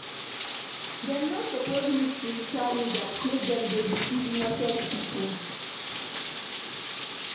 Dem no suppose leave spiritual leaders make dem dey deceive innocent pipo.